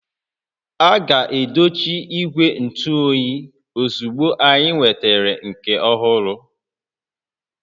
A ga-edochi ígwè ntụ óyiozugbo anyị nwetara nke ọhụrụ